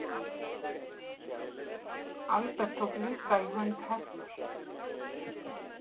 Albert tók líka í hönd Hektors.